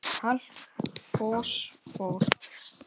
Kalk Fosfór